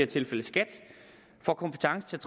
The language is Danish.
tilfælde skat får kompetence til at